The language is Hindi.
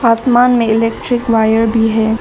आसमान में इलेक्ट्रिक वायर भी है।